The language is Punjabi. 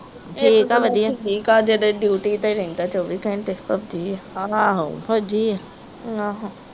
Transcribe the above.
ਠੀਕ ਆ ਵਧੀਆ ਠੀਕ ਆ ਅਜੇ ਤੇ ਡਿਊਟੀ ਤੇ ਰਹਿੰਦਾ ਚਵੀ ਘੰਟੇ ਆ ਆਹੋ ਫੌਜੀ ਆ